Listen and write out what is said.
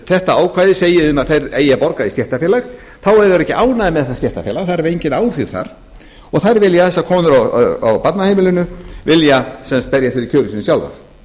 þetta ákvæði segi þeim að þær eigi að borga í stéttarfélag þá eru þær ekki ánægðar með það stéttarfélag þær hafa engin áhrif þar og þessar konur á barnaheimili vilja sem sagt berjast fyrir kjörum sínum sjálfar